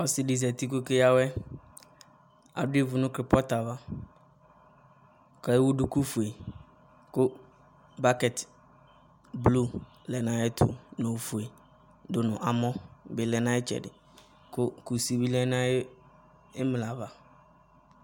Ɔsɩ ɖɩ zati ƙʋ ɔƙe ƴǝ awɛTa ɖʋ ivu nʋ krepɔtʋ avaƘʋ ewu ɖuƙu fue ƙʋ bakɛt blu lɛ nʋ aƴɛtʋ ,nʋ ofue ɖʋ nʋ amɔ bɩ lɛ nʋ aƴʋ ɩtsɛɖɩ, ƙusi bɩ lɛ nʋ aƴʋ ɩmla ava